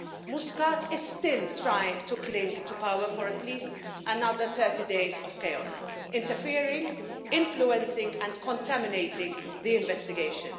Muscat is still trying to cling to power for at least another 30 days of chaos interfering, influencing and contaminating the investigation.